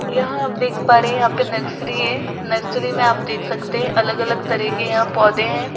यहां आप देख पा रहे है यहां पे नर्सरी है नर्सरी में आप देख सकते है अलग-अलग तरह के यहां पौधे है।